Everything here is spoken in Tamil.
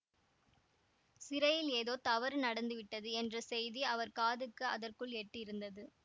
சிறையில் ஏதோ தவறு நடந்துவிட்டது என்ற செய்தி அவர் காதுக்கு அதற்குள் எட்டியிருந்தது